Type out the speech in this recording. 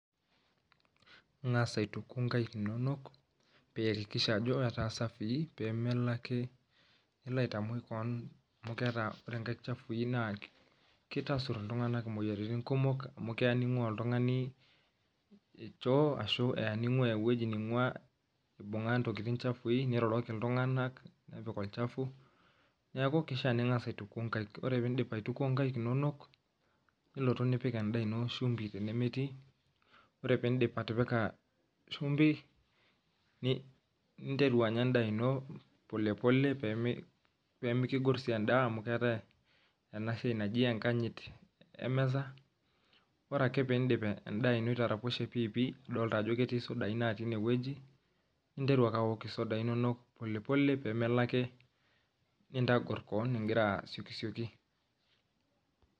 Enkasa aituku inkaik inono, iyakikisha ajo safie peemelo ake nilo aitamoi kewon amu ore inkaik chafui naa kitasur iltunganak imoyiaritin kumok, amu keya ninkua oltungani choo ashu eya ninkua ewoji ewoji ninkua nibunka iwojitin chafui niroroki iltunganak, nepik olchafu neeku kishaa ninkasa aituku inkaik. Ore peeidip aituku inkaik inono nilotu nipik endaa ino shumbi tenemetii, ore peeidip atipika shumbi, ninteru anya endaa ino pole pole peemikogor sii endaa, amu keetai entoki naji enkanyit emirata. Ore ake piidip endaa ino itaraposhe piipik nidolita ajo ketii isudai natii inewoji ninteru ake awok isudai inono pole pole peemelo ake nintogur kewon igira asiokisioki.